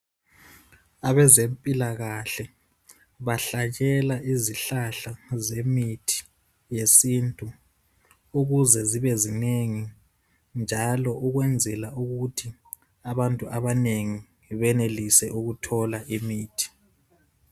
Abezempilakahle bahlanyela izihlahla zemithi yesintu ukuze zibe zinengi njalo ukwenzela ukuthi abantu abanengi benelise ukuthola imithi.